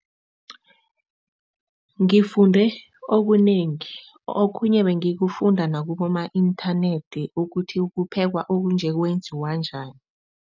Ngifunde okunengi. Okhunye bengikufunda nakuboma-inthanethi ukuthi kuphekwa okunje, kwenziwa njani.